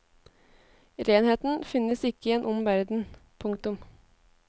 Renheten finnes ikke i en ond verden. punktum